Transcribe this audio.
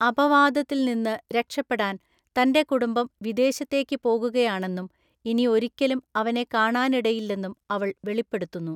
അപവാദത്തിൽ നിന്ന് രക്ഷപ്പെടാൻ തന്റെ കുടുംബം വിദേശത്തേക്ക് പോകുകയാണെന്നും ഇനി ഒരിക്കലും അവനെ കാണാനിടയില്ലെന്നും അവൾ വെളിപ്പെടുത്തുന്നു.